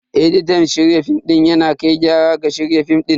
Editan shirin film din ya na kan gyara da shirya film din.